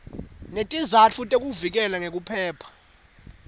netizatfu tekuvikeleka nekuphepha